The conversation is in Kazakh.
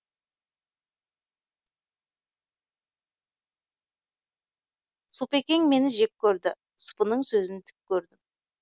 сұпыекең мені жек көрді сұпының сөзін тік көрдім